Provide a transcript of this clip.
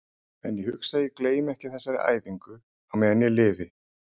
En ég hugsa að ég gleymi ekki þessari æfingu á meðan ég lifi.